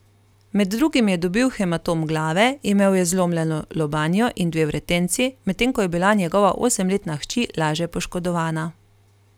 Med drugim je dobil hematom glave, imel je zlomljeno lobanjo in dve vretenci, medtem ko je bila njegova osemletna hči laže poškodovana.